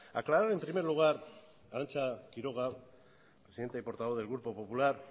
aclarar en primer lugar arantxa quiroga presidenta y portavoz del grupo popular